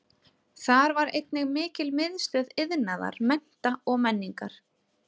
Þar var einnig mikil miðstöð iðnaðar, mennta og menningar.